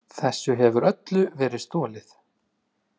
Þessu hefur öllu verið stolið!